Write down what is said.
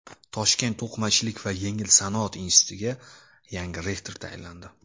Toshkent to‘qimachilik va yengil sanoat institutiga yangi rektor tayinlandi.